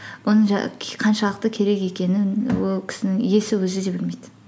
оны қаншалықты керек екенін ол кісінің иесі өзі де білмейді